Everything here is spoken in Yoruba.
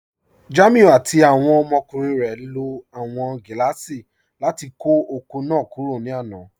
Jàmíù àti awọn ọmọkùnrin rẹ ló awọn gilaasì láti kọ oko náà kúrò ní àná.